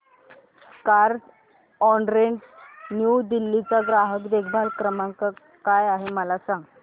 Carzonrent New Delhi चा ग्राहक देखभाल नंबर काय आहे मला सांग